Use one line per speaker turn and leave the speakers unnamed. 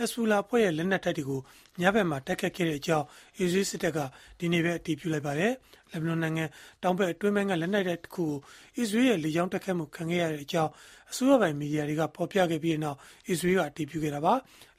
က် Hezbollah အဖွဲ့ရဲ့ လက်နက်တိုက်တွေကို ညဖက်မှာ တိုက်ခိုက်ခဲ့ကြောင်း အစ္စရေးစစ်တပ်က ဒီကနေ့ပဲ အတည်ပြုလိုက်ပါတယ်။ လက်ဘနွန်နိုင်ငံတောင်ဘက် အတွင်းပိုင်းက လက်နက်တိုက်တခုကို အစ္စရေးရဲ့ လေကြောင်းတိုက်ခိုက်မှု ခံခဲ့ရကြောင်း အစိုးရပိုင် မီဒီယာတွေက ဖော်ပြခဲ့ပြီးနောက် အစ္စရေးက အတည်ပြုခဲ့တာပါ။